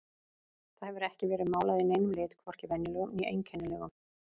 Það hefur ekki verið málað í neinum lit, hvorki venjulegum né einkennilegum.